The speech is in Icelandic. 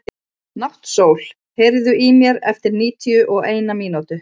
Náttsól, heyrðu í mér eftir níutíu og eina mínútur.